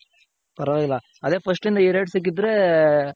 ಪರವಾಗಿಲ್ಲ ಅದೆ first ಇಂದ ಇ rate ಸಿಕ್ಕಿದ್ರೆ